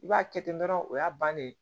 I b'a kɛ ten dɔrɔn o y'a bannen ye